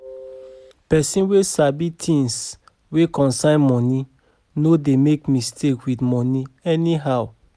Pesin wey sabi tins wey concern moni no dey make mistake with moni anyhow.